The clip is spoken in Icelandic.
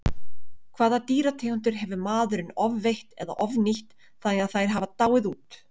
Hvaða dýrategundir hefur maðurinn ofveitt eða ofnýtt þannig að þær hafa dáið út?